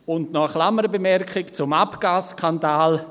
Und noch eine Klammerbemerkung zum Abgas-Skandal: